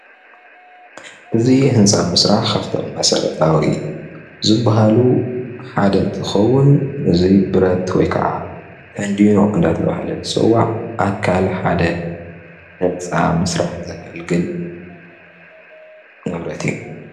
እዚ ምስሊ ህንፃ መስርሒ ንጥቀመሉ ብረት ኮይኑ ተንዲኖ ይበሃል።